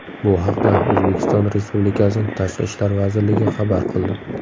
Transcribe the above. Bu haqda O‘zbekiston Respublikasi Tashqi ishlar vazirligi xabar qildi.